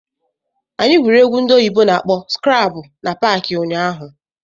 Anyị gwuru egwu ndị oyibo na-akpọ skrabụ na paakị ụnyaahụ.